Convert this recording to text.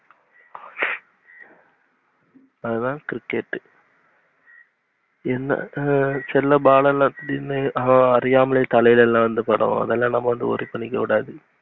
அதான் cricket என்ன சில ball யெல்லாம் அறியாமலே வந்து தலைல வந்து படும், அதல்லாம் worry பண்ணிக்ககூடாது.